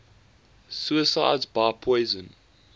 suicides by poison